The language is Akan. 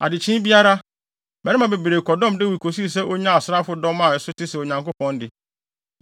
Adekyee biara, mmarima bebree kɔdɔm Dawid kosii sɛ onyaa asraafodɔm a ɛso te sɛ Onyankopɔn de.